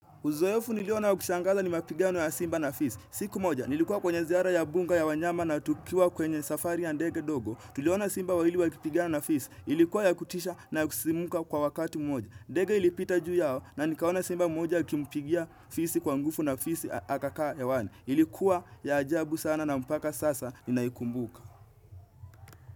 Uzoefu niliona wa kushangaza ni mapigiano ya simba na fisi. Siku moja, nilikuwa kwenye ziara ya bunga ya wanyama na tukiwa kwenye safari ya deke dogo. Tuliona simba wawili wakipigana na fisi. Ilikuwa ya kutisha na kusimuka kwa wakati mmoja. Deke ilipita juu yao na nikaona simba mmoja akimpigia fisi kwa ngufu na fisi akakaa hewani. Ilikuwa ya ajabu sana na mpaka sasa ninaikumbuka.